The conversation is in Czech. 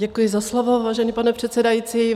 Děkuji za slovo, vážený pane předsedající.